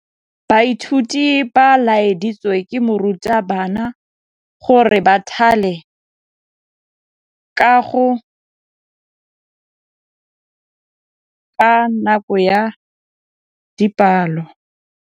Baithuti ba laeditswe ke morutabana gore ba thale kagô ka nako ya dipalô.